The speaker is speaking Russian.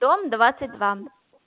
дом двадцать два